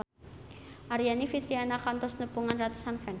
Aryani Fitriana kantos nepungan ratusan fans